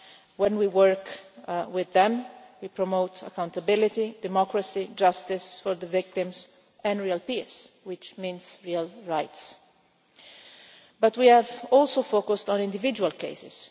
When we work with them we promote accountability, democracy, justice for the victims and real peace, which means real rights. We have also focused on individual cases.